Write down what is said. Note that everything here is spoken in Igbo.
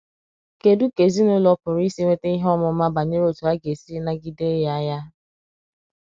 kedụ ka ezinụlọ pụrụ isi nweta ihe ọmụma banyere otú ha ga - esi nagide ya ya?